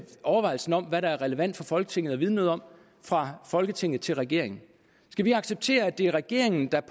overvejelserne om hvad der er relevant for folketinget at vide noget om fra folketinget til regeringen skal vi acceptere at det er regeringen der